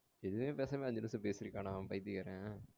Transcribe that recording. எதுமே பேசாம அஞ்சு நிமிஷம் பேசிர்கானா பைத்தியாகாரன்